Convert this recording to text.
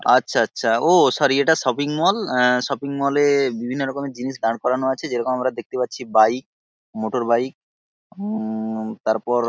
আচ্ছা আচ্ছা ও সরি এটা শপিং মল আ শপিং মল-এ বিভিন্ন রকমের জিনিস দাঁড় করানো আছে যেরকম আমরা দেখতে পাচ্ছি বাইক মোটরবাইক উম-ম-ম তারপর--